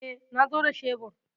E, na zo da shebur.